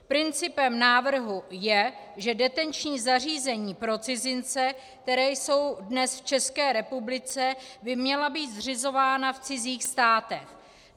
Principem návrhu je, že detenční zařízení pro cizince, která jsou dnes v České republice, by měla být zřizována v cizích státech.